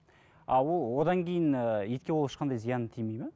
а ол одан кейін ыыы итке ол ешқандай зияны тимейді ме